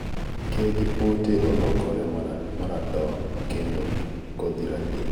tuo cowpea ( mondo kik gitui) ke gi pote olokore maratong kendo kodhi rateng